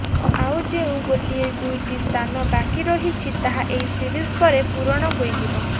ଆଉ ଯେଉଁ ଗୋଟିଏ ଦୁଇଟି ସ୍ଥାନ ବାକି ରହିଛି ତାହା ଏହି ସିରିଜ୍ ପରେ ପୂରଣ ହୋଇଯିବ